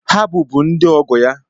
Ha bụbụ ndị ọgọ ya.